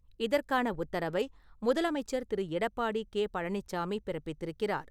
இதற்கான உத்தரவை முதலமைச்சர் திரு. எடப்பாடி கே. பழனிச்சாமி பிறப்பித்திருக்கிறார்.